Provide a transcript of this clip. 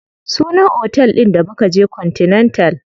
Sunan otel ɗin da mukaje continental.